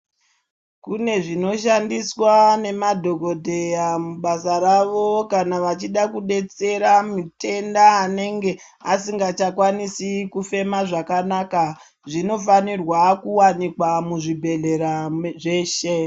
Kune zvinoshandiswa nemadhokodheya mubasa ravo kana vachida kudetsera mutenda anenge asingachakwanisi kufema zvakanaka. Zvinofanirwa kuwanikwa muzvibhedhlera muzveshe.